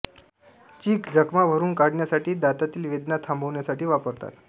चीक जखमा भरून काढण्यासाठी दातातील वेदना थांबविण्यासाठी वापरतात